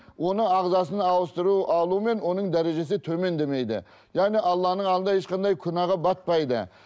оның ағзасын ауыстыру алу мен оның дәрежесі төмендемейді яғни алланың алдында ешқандай күнәға батпайды